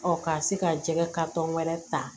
ka se ka jɛgɛ wɛrɛ ta